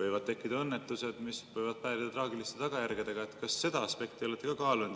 võivad tekkida õnnetused, mis võivad päädida traagiliste tagajärgedega –, kas te seda aspekti olete ka kaalunud.